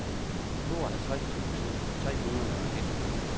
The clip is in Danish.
tooghalvtreds tusind tre hundrede og nitten